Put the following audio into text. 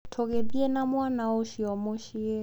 Tũgĩthiĩ na mwana ũcio mũciĩ.